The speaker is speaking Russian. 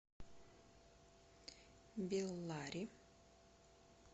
беллари